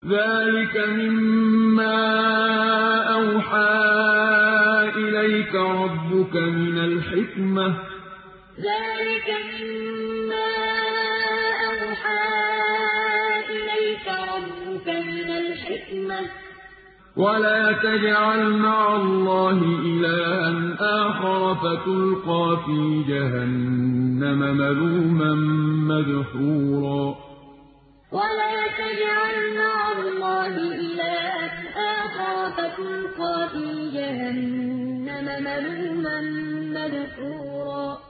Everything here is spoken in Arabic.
ذَٰلِكَ مِمَّا أَوْحَىٰ إِلَيْكَ رَبُّكَ مِنَ الْحِكْمَةِ ۗ وَلَا تَجْعَلْ مَعَ اللَّهِ إِلَٰهًا آخَرَ فَتُلْقَىٰ فِي جَهَنَّمَ مَلُومًا مَّدْحُورًا ذَٰلِكَ مِمَّا أَوْحَىٰ إِلَيْكَ رَبُّكَ مِنَ الْحِكْمَةِ ۗ وَلَا تَجْعَلْ مَعَ اللَّهِ إِلَٰهًا آخَرَ فَتُلْقَىٰ فِي جَهَنَّمَ مَلُومًا مَّدْحُورًا